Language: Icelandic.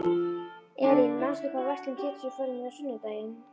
Eylín, manstu hvað verslunin hét sem við fórum í á sunnudaginn?